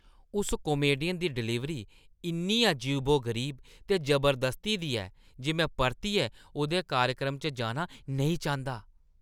उस कामेडियन दी डलीवरी इन्नी अजीबो-गरीब ते जबरदस्ती दी ऐ जे में परतियै उʼदे कार्यक्रम च जाना नेईं चांह्‌दा।